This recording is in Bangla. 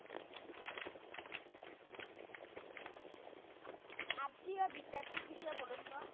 আশিস বিদ্যার্থী বিষয়ে বলুন তো?